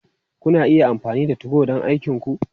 Kuna iya amfani da 2go don aikinku.